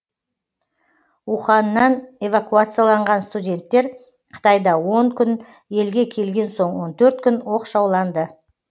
уханннан эвакуацияланған студенттер қытайда он күн елге келген соң он төрт күн оқшауланды